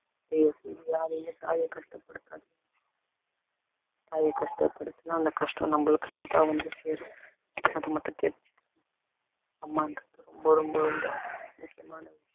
தயவு செஞ்சு யாரும் அந்த தாய் கஷ்டப்படுத்தாதீங்க தாய கஷ்டப்படுத்துன்னா அந்த கஷ்டம் நம்மளுக்கு தான் வந்து சேரும் அது மட்டும் தெரிஞ்சு அம்மான்றது ரொம்ப ரொம்ப ரொம்ப முக்கியமானது